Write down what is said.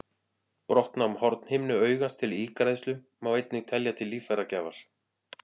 Brottnám hornhimnu augans til ígræðslu má einnig telja til líffæragjafar.